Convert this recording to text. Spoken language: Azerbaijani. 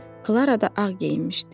Klara da ağ geyinmişdi.